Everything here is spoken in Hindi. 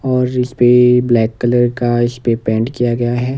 और इस पे ब्लैक कलर का इस पे पेंट किया गया है।